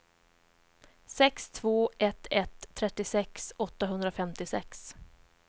sex två ett ett trettiosex åttahundrafemtiosex